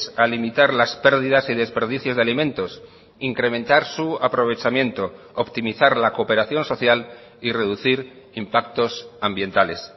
a limitar las pérdidas y desperdicios de alimentos incrementar su aprovechamiento optimizar la cooperación social y reducir impactos ambientales